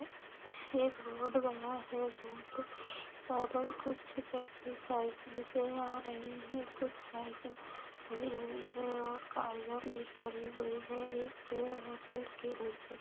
एक रोड गया है रोड प र कुछ व्यक्ति साइकिल से आ रहे हैं कुछ साइकिल खड़ी हुई हैं और गाड़ियां भी खड़ी हुई हैं एक पेड़ है पेड़ के नीचे।